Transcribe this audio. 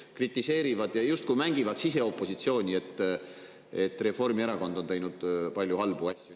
Nad kritiseerivad seda ja justkui mängivad siseopositsiooni, öeldes, et Reformierakond on teinud palju halbu asju.